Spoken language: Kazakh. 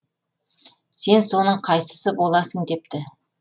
сен соның қайсысы боласың депті